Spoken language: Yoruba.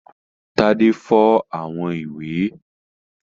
Tádé fọ́ àwo-ìwẹ̀?